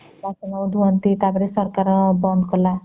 ବାସନା ଧୁଅନ୍ତି ତା ପରେ ସରକାର ବନ୍ଦ କଲା